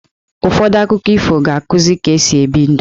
Ụfọdụ akụkọ ifo ga-akuzi ka-esi ebi ndụ.